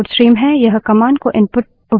यह commands को input उपलब्ध कराता है